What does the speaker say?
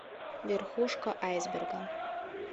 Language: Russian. верхушка айсберга